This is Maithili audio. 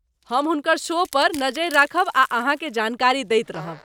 हम हुनकर शो पर नजरि राखब आ अहाँकेँ जानकारी दैत रहब।